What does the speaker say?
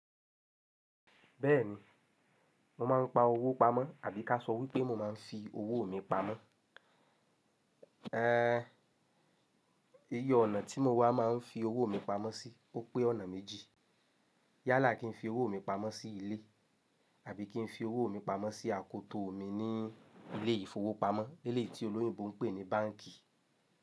Bẹ́ẹ̀ni, mo máa ń pa owó pamọ́ àbí ká sọ wípé mo máa ń fi owó mi pamọ́. Iye ọ̀nà tí mo wá máa ń fi owó mi pamọ́ sí, ó pé ọ̀nà méjì. Yálà kí n fi owó mi pamọ́ sí ilé àbí kí n fi owó mi pamọ́ sí àkótó mi ní ilé ìfowópamọ́, ilé tí olóyinbo ń pè ní báǹkì.